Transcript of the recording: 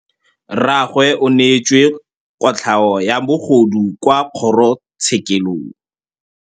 Rragwe o neetswe kotlhaô ya bogodu kwa kgoro tshêkêlông.